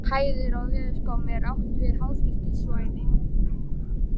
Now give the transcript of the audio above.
Þegar talað er um hæðir í veðurspám er átt við háþrýstisvæði.